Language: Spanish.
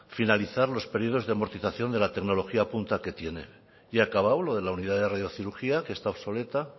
finalizar los periodos de amortización de la tecnología punta que tiene la unidad de radiocirugía que está obsoleta